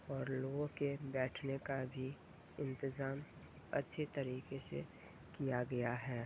और लोगो के बैठन का भी इंतेज़ाम अच्छी तरीके से किया गया है।